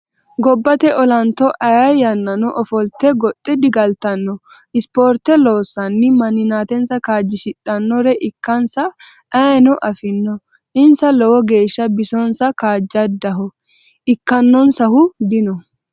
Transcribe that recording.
Gobbate ollanto ayee yannano ofolte goxe digaltano ispoorte loossanni manimasa kaajjishidhanore ikkansa ayeeno afino insa lowo geeshsha bisosa kaajjadaho ikkanonsahu dino.